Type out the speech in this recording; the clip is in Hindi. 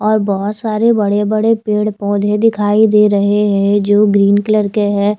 और बहोत सारे बड़े बड़े पेड़ पौधे दिखाई दे रहे हैं जो ग्रीन कलर के है।